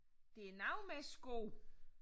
Det er noget med sko